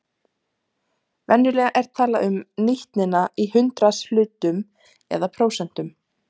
Venjulega er talað um nýtnina í hundraðshlutum eða prósentum.